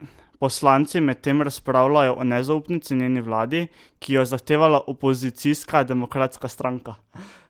Poslanci medtem razpravljajo o nezaupnici njeni vladi, ki jo je zahtevala opozicijska Demokratska stranka.